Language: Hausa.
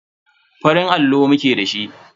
Farin allo muke da shi.